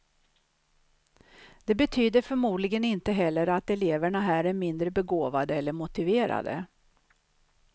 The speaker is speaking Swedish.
Det betyder förmodligen inte heller att eleverna här är mindre begåvade eller motiverade.